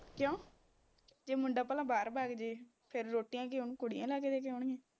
ਕਿਉਂ ਜੇ ਮੁੰਡਾ ਭਲਾ ਬਾਹਰ ਵੱਗ ਜੇ ਫਿਰ ਰੋਟੀਆਂ ਕੀ ਉਹਨੂੰ ਕੁੜੀਆਂ ਲਾਹ ਕੇ ਦੇ ਕੇ ਆਉਣਗੀਆਂ